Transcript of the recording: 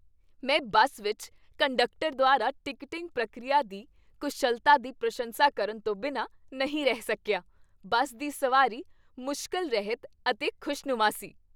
ਮੈਂ ਬੱਸ ਵਿੱਚ ਕੰਡਕਟਰ ਦੁਆਰਾ ਟਿਕਟਿੰਗ ਪ੍ਰਕਿਰਿਆ ਦੀ ਕੁਸ਼ਲਤਾ ਦੀ ਪ੍ਰਸ਼ੰਸਾ ਕਰਨ ਤੋਂ ਬਿਨਾਂ ਨਹੀਂ ਰਹਿ ਸਕਿਆ। ਬੱਸ ਦੀ ਸਵਾਰੀ ਮੁਸ਼ਕਲ ਰਹਿਤ ਅਤੇ ਖੁਸ਼ਨੁਮਾ ਸੀ।